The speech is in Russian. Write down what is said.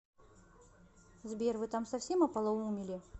сбер вы там совсем ополумели